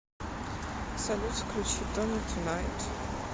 салют включи тони тунайт